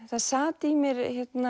það sat í mér